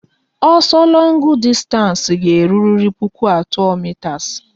Ọsọ longu dịstanci ga-eruriri puku atọ mitas